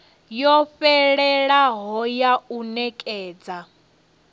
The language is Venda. yo fhelelaho ya u nekedza